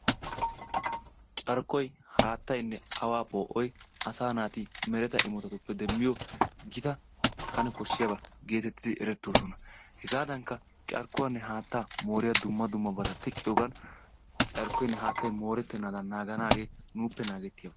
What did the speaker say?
carkkoy haattaynne awaa po"oy asaa naati mereta imotattuppe deemmiyoo giitta kane kooshiyaabata getettidi erettoosona. hegaadankka carkkuwaanne haattaa moriyaabata teqqiyoogan carkkoynne haattay morettenaadan naaganaagee nuuppe naagetiyaaba.